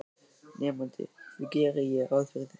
Nemandi: Því geri ég ráð fyrir